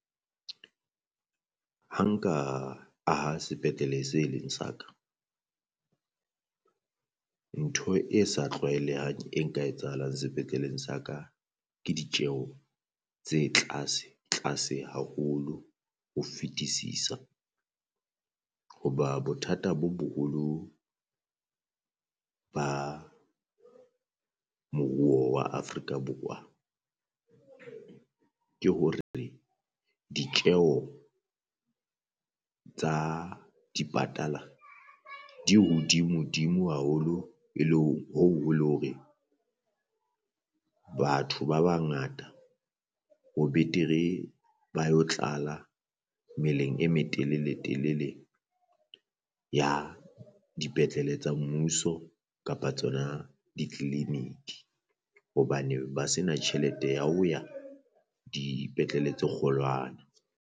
Ha nka aha sepetlele se leng sa ka, ntho e sa tlwaelehang e nka etsahalang sepetleleng sa ka ke ditjeho tse tlase tlase haholo ho fetisisa. Hoba bothata bo boholo ba moruo wa Afrika Borwa ke hore re ditjeho tsa dipatala di hodimodimo haholo e le hoo e le hore, batho ba bangata ho betere ba yo tlala meleng e metelele telele ya dipetlele tsa mmuso kapa tsona di clinic. hobane ba se na tjhelete ya ho ya dipetlele tse kgolwana.